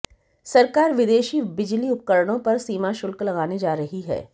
सरकार विदेशी बिजली उपकरणों पर सीमा शुल्क लगाने जा रही है